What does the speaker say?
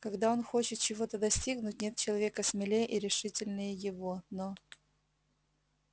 когда он хочет чего-то достигнуть нет человека смелее и решительнее его но